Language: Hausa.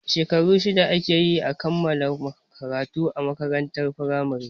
Shekaru shida ake yi kan a kammala karatu a makarantar firamare